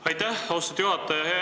Aitäh, austatud juhataja!